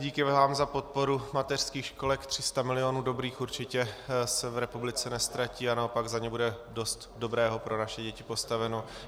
Díky vám za podporu mateřských školek, 300 milionů dobrých, určitě se v republice neztratí a naopak za ně bude dost dobrého pro naše děti postaveno.